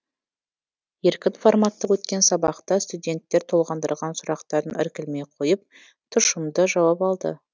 еркін форматта өткен сабақта студенттер толғандырған сұрақтарын іркілмей қойып тұшымды жауап алды